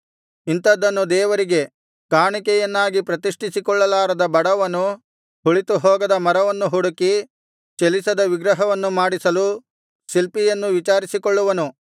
ಇಂಥದನ್ನು ದೇವರಿಗೆ ಕಾಣಿಕೆಯನ್ನಾಗಿ ಪ್ರತಿಷ್ಠಿಸಿಕೊಳ್ಳಲಾರದ ಬಡವನು ಹುಳಿತು ಹೋಗದ ಮರವನ್ನು ಹುಡುಕಿ ಚಲಿಸದ ವಿಗ್ರಹವನ್ನು ಮಾಡಿಸಲು ಶಿಲ್ಪಿಯನ್ನು ವಿಚಾರಿಸಿಕೊಳ್ಳುವನು